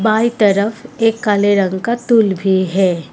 By तरफ एक काले रंग का तुल भी है।